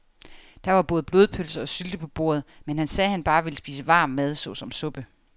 Der var både blodpølse og sylte på bordet, men han sagde, at han bare ville spise varm mad såsom suppe.